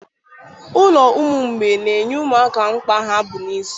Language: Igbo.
Ụlọ ụmụ mgbei na-enye ụmụaka mkpa ha bụ isi